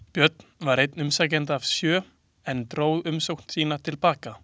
Björn var einn umsækjenda af sjö, en einn dró umsókn sína til baka.